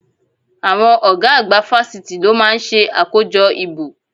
Àwọn ọ̀gá àgbà fásitì ló máa ń ṣe àkójọ ìbò